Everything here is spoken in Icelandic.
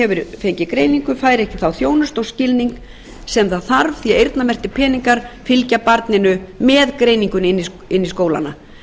hefur fengið greiningu fær ekki þá þjónustu og skilning sem það þarf því að eyrnamerktir peningar fylgja barninu með greiningunni inn í skólana